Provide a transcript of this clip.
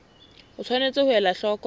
o tshwanetse ho ela hloko